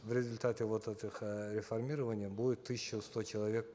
в результате вот этих э реформирований будет тысячу сто человек